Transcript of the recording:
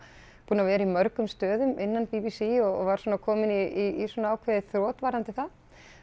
búin að vera í mörgum stöðum innan b b c og var svona komin í ákveðið þrot varðandi það